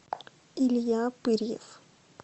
илья пырьев